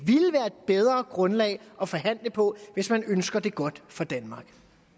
bedre grundlag at forhandle på hvis man ønsker det godt for danmark